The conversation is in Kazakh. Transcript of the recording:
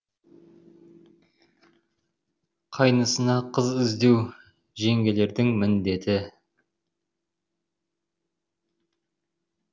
қайнысына қыз іздеу жеңгелердің міндеті